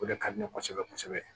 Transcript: O de ka di ne ye kosɛbɛ kosɛbɛ